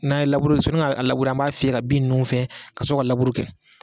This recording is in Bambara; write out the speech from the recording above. N'a ye labure sɔni ka labure an b'a fiyɛ ka bin ninnu fɛn kasɔrɔ ka labure kɛ